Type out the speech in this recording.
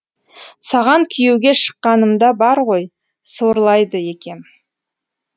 саған күйеуге шыққанымда бар ғой сорлайды екем